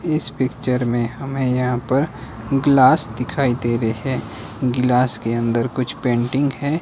इस पिक्चर में हमें यहां पर ग्लास दिखाई दे रहे है। ग्लास के अंदर कुछ पेंटिंग है।